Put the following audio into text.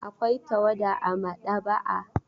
Akwai tawada a maɗaba'a.